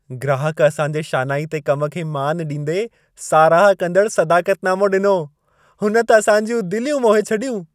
ग्राहक असांजे शानाइते कम खे मानु ॾींदे साराह कंदड़ु सदाक़त नामो ॾिनो। हुन त असां जूं दिलियूं मोहे छॾियूं।